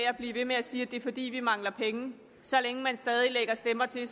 at blive ved med at sige at det er fordi vi mangler penge så længe man stadig lægger stemmer til